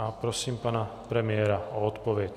A prosím pana premiéra o odpověď.